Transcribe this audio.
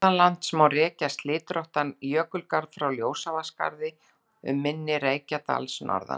Norðanlands má rekja slitróttan jökulgarð frá Ljósavatnsskarði, um mynni Reykjadals, norðan